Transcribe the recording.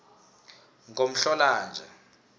ngomhlolanja